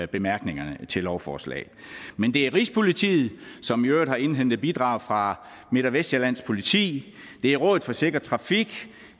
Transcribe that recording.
bemærkningerne til lovforslaget men det er rigspolitiet som i øvrigt har indhentet bidrag fra midt og vestsjællands politi det er rådet for sikker trafik